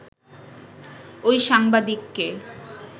ওই সাংবাদিককে